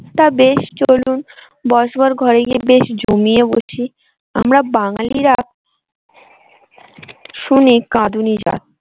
তা বেশ চলুন বসবার ঘরে গিয়ে বেশ জমিয়ে বসি আমরা বাঙালিরা শুনি কাঁদুনি জাত